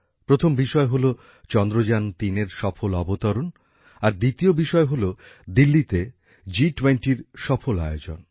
প্রথম বিষয় হল চন্দ্রযান ৩এর সফল অবতরণ আর দ্বিতীয় বিষয় হল দিল্লীতে জিটোয়েন্টির সফল আয়োজন